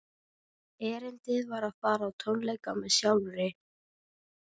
Erindið var að fara á tónleika með sjálfri